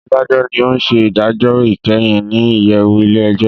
Adajọ ní ọ n ṣe idajọ ikẹhin ní iyẹwu ilé-ẹjọ